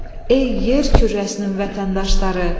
Ey yer kürrəsinin vətəndaşları!